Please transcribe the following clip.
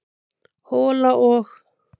hola og.